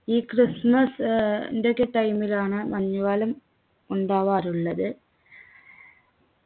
ഈ ക്രിസ്മസ് ഏർ ന്റെയൊക്കെ time ലാണ് മഞ്ഞു കാലം ഉണ്ടാവാറുള്ളത്